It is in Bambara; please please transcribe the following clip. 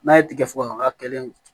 N'a ye tigɛ fɔ k'a kɛlen